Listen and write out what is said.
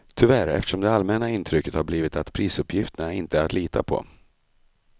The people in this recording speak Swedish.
Tyvärr, eftersom det allmänna intrycket har blivit att prisuppgifterna inte är att lita på.